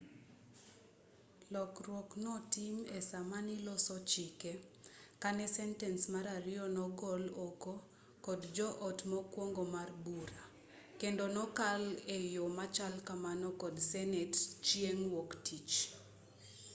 lokruok notim esaamaniloso chike kane sentens mar ariyo nogol oko kod jo-ot mokwongo mar bura kendo nokal eyo machal kamano kod senet chieng' wuok-tich